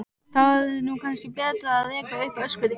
Þá er nú kannski betra að reka upp öskur.